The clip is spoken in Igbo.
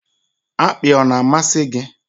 Akpị ọ na-amasị gị?